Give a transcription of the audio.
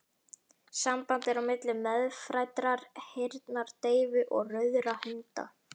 Samband er á milli meðfæddrar heyrnardeyfu og rauðra hunda.